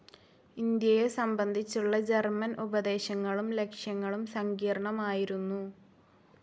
ഇന്ത്യയെ സംബന്ധിച്ചുള്ള ജർമൻ ഉപദേശങ്ങളും ലക്ഷ്യങ്ങളും സങ്കീർണ്ണമായിരുന്നു.